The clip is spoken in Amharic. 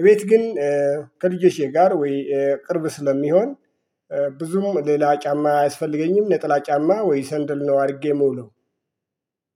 እቤት ግን ከልጆቼ ጋር ወይ ቅርብ ስለሚሆን ብዙም ሌላ ጫማ አያስፈልገኝም ነጠላ ጫማ ወይ ሰንደል ነው አድርጌ የምውለው